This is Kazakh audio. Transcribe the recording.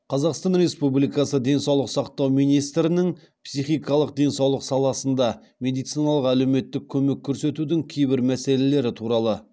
қазақстан республикасы денсаулық сақтау министрінің психикалық денсаулық саласында медициналық әлеуметтік көмек көрсетудің кейбір мәселелері туралы